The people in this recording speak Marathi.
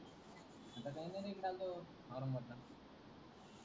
आता काही नाही रे चालो ओरंगाबादला,